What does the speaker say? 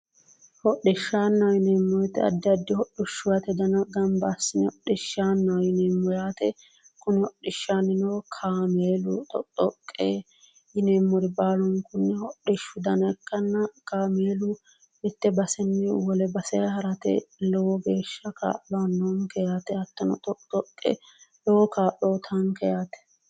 Hodhishshaannaho yineemmo woyiite hidhishshiwate dana gamba assine hodhishshaannaho yineemmo yaate, kuni hodhishshaannuno kaameelu doqidoqqe yineemmori baalunku hodhishshu dana ikkanna kaameelu. mitte basenni wole base harate lowo geehshsha kaa'lo aannonke yaate hattono doqidoqqe lowo kaa'uuyiitaanke yaate.